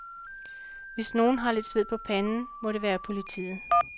Hvis nogen har lidt sved på panden, må det være politiet.